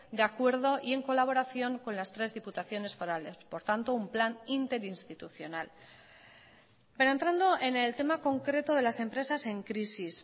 de acuerdo y en colaboración con las tres diputaciones forales por tanto un plan interinstitucional pero entrando en el tema concreto de las empresas en crisis